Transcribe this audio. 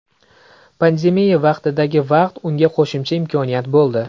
Pandemiya vaqtidagi vaqt unga qo‘shimcha imkoniyat bo‘ldi.